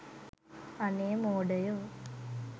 අනේ මෝඩයෝ